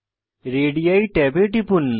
ready ট্যাবে টিপুন